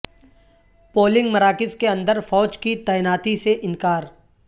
polling مراکز کے اندر فوج کی تعیناتی سے انکار